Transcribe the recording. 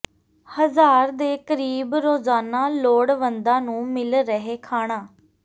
ਹਜ਼ਾਰ ਦੇ ਕਰੀਬ ਰੋਜ਼ਾਨਾ ਲੋੜਵੰਦਾਂ ਨੂੰ ਮਿਲ ਰਿਹੈ ਖਾਣਾ